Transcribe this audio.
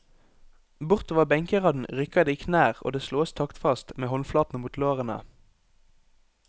Bortover benkeraden rykker det i knær og det slås taktfast med håndflatene mot lårene.